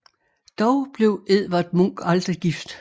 Dog blev Edvard Munch aldrig gift